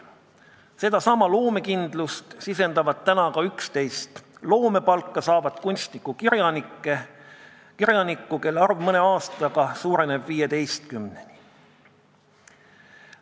Sedasama loomekindlust saavad tunda 11 loomepalka saavat kunstnikku-kirjanikku, kelle arv mõne aastaga suureneb 15-ni.